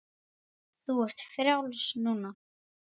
Þú ert frjáls núna.